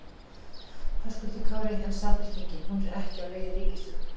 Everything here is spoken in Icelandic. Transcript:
Höskuldur Kári: En Samfylkingin, hún er ekki á leið í ríkisstjórn?